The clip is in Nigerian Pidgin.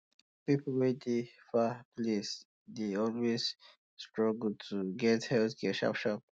people wey dey far place um dey always um struggle to get healthcare sharp sharp